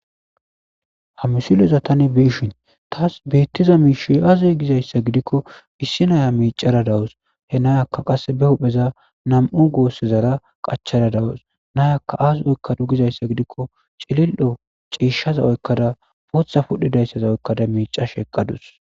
Ha Missileza Tani Be'ishin Tas Betizay Aze Gizaysa Gidiko Essi Na'iya Miccada Dawus He Na'iyaka Qasika pudheza Nam'u Gosizara Qaccada Na'iyaka Azi Oykade Gizaysa Gidiko chilil'o chishaza oykada phudhizaysaza oykada mihashe eqadus